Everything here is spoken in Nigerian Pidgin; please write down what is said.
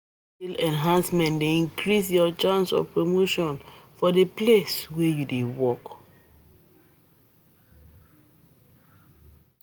Skill enhancement dey increase ur chances of promotion for de place wey u dey work.